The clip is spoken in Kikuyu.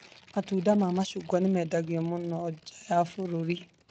Matunda ma macungwa nĩ maendagio mũno nja ya bũrũri.